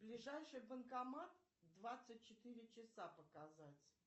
ближайший банкомат двадцать четыре часа показать